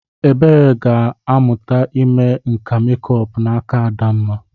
Ebere ga-aga mụta ime nka mekup n'aka Adamma.